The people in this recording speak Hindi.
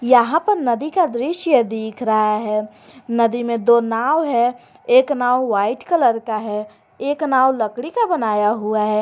यहां पर नदी का दृश्य दिख रहा है नदी में दो नाव है एक नाव व्हाइट कलर का है एक नाव लकड़ी का बनाया हुआ है।